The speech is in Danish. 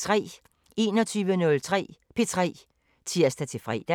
21:03: P3 (tir-fre)